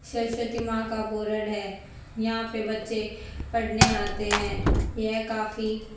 सरस्वती मां का बोरड है यहां पे बच्चे पढ़ने आते है यह काफी--